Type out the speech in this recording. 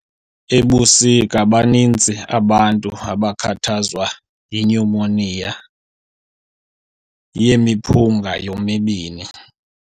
Ebusika baninzi abantu abakhathazwa yinyumoniya yemiphunga yomibini.